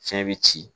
Fiɲɛ be ci